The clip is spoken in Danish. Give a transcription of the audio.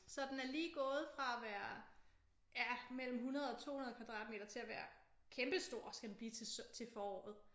Så den er lige gået fra fra at være ja mellem 100 og 200 kvadratmeter til at være kæmpestor skal den blive til foråret